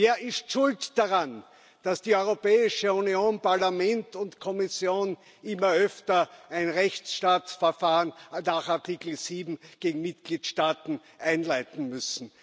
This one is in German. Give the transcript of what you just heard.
Wer ist schuld daran, dass die Europäische Union Parlament und Kommission immer öfter ein Rechtsstaatsverfahren nach Artikel 7 gegen Mitgliedstaaten einleiten muss?